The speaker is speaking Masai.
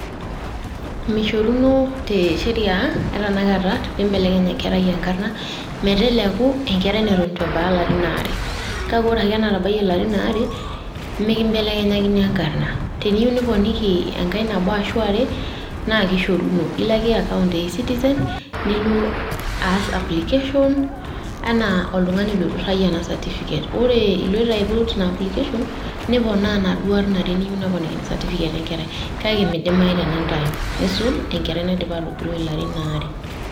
Meishoruno te sheria e tenakata pee ibelekeny enkerai enkarna meteleku enkerai neton eitu ebaya ilarin oare. Kake ore ake enatabayie ilarin oare mmekibelekenyakini enkarna, teniyieu niponiki enkae nabo ashu are naa kishoruno. Ilo ake account e e-citizen nilo aas application enaa oltung`ani oiturrayie ena certificate. Ore iloito aiput ina application ino niponaa inaduo arn are niyieu niponiki certificate e nkerai kake meidimayu tenindayu eisul enkerai naidipa atogiroi ilarin aare.